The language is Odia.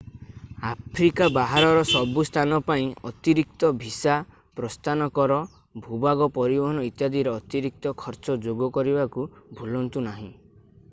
ଆଫ୍ରିକା ବାହାରର ସବୁ ସ୍ଥାନ ପାଇଁ ଅତିରିକ୍ତ ଭିସା ପ୍ରସ୍ଥାନ କର ଭୂଭାଗ ପରିବହନ ଇତ୍ୟାଦିର ଅତିରିକ୍ତ ଖର୍ଚ୍ଚ ଯୋଗ କରିବାକୁ ଭୁଲନ୍ତୁ ନାହିଁ